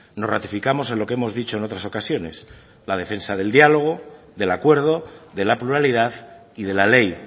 nos ratificamos en lo que hemos dicho en otras ocasiones la defensa del dialogo del acuerdo de la pluralidad y de la ley